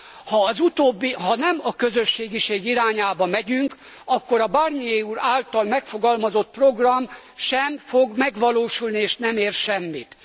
Ha nem a közösségiség irányába megyünk, akkor a Barnier úr által megfogalmazott program sem fog megvalósulni és nem ér semmit.